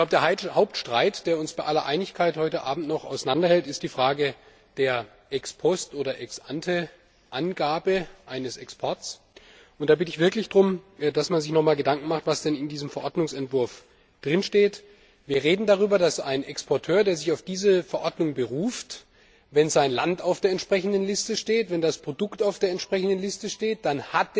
Der Hauptstreit, der uns bei aller Einigkeit heute Abend noch auseinanderhält, ist die Frage der Ex post oder Ex ante Angabe eines Exports. Ich bitte darum, dass man sich noch einmal Gedanken darüber macht, was denn in diesem Verordnungsentwurf steht. Wir reden darüber, dass ein Exporteur, der sich auf diese Verordnung beruft, wenn sein Land auf der entsprechenden Liste steht, wenn das Produkt auf der entsprechenden Liste steht, dann